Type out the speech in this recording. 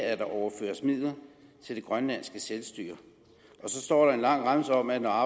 at der overføres midler til det grønlandske selvstyre og så står der en lang remse om at når